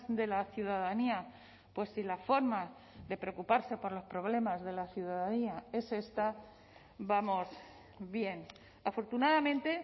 de la ciudadanía pues si la forma de preocuparse por los problemas de la ciudadanía es esta vamos bien afortunadamente